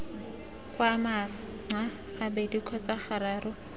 kgwa manxa gabedi kgotsa gararo